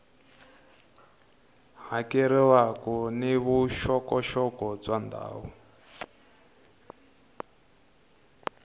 hakeriwaka ni vuxokoxoko bya ndhawu